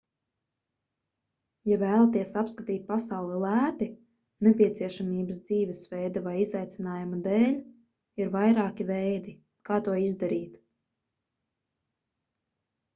ja vēlaties apskatīt pasauli lēti nepieciešamības dzīvesveida vai izaicinājuma dēļ ir vairāki veidi kā to izdarīt